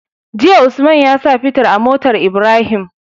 Jiya usman yasa fitir a motar Ibrahim